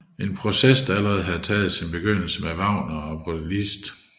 En proces der allerede havde taget sin begyndelse med Wagner og Liszt